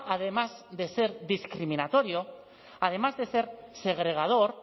además de ser discriminatorio además de ser segregador